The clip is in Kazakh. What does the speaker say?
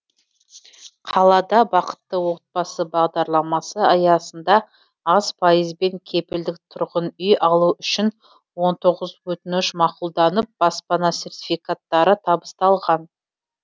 қалада бақытты отбасы бағдарламасы аясында аз пайызбен кепілдік тұрғын үй алу үшін он тоғыз өтініш мақұлданып баспана сертификаттары табысталған